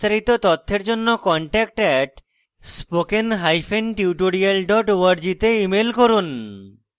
বিস্তারিত তথ্যের জন্য contact @spokentutorial org তে ইমেল করুন